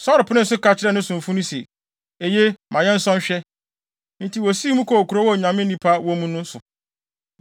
Saulo penee so ka kyerɛɛ ne somfo no se, “Eye, ma yɛnsɔ nhwɛ!” Enti wosii mu kɔɔ kurow a Onyame nipa wɔ mu no so.